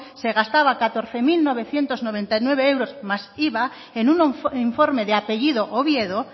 se gastaba catorce mil novecientos noventa y nueve euros más iva en un informe de apellido oviedo